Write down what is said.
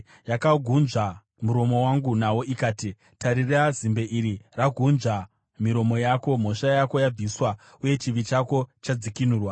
Yakagunzva muromo wangu naro ikati, “Tarira, zimbe iri ragunzva miromo yako; mhosva yako yabviswa uye chivi chako chadzikinurwa.”